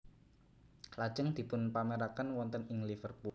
Lajeng dipunpameraken wonten ing Liverpool